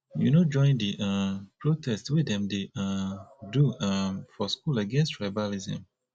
you no join di um protest wey dem dey um do um for school against tribalism